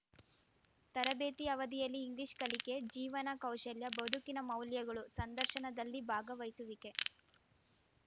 ತರಬೇತಿ ಅವಧಿಯಲ್ಲಿ ಇಂಗ್ಲಿಷ್‌ ಕಲಿಕೆ ಜೀವನ ಕೌಶಲ್ಯ ಬದುಕಿನ ಮೌಲ್ಯಗಳು ಸಂದರ್ಶನದಲ್ಲಿ ಭಾಗವಹಿಸುವಿಕೆ